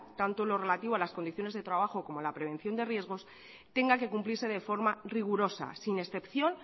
tanto lo relativo a las condiciones de trabajo como a la prevención de riesgos tenga que cumplirse de forma rigurosa sin excepción